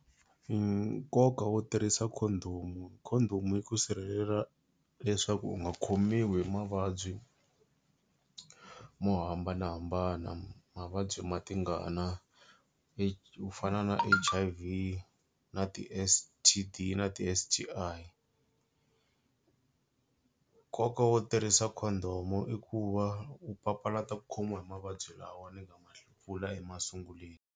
Nkoka wo tirhisa condom condom yi ku sirhelela leswaku u nga khomiwi hi mavabyi mo hambanahambana. Mavabyi ma tingana ku fana na H_I_V na ti-S_T_D na ti-S_T_I nkoka wo tirhisa condom i ku va u papalata ku khomiwa hi mavabyi lawa ni nga ma vula emasunguleni.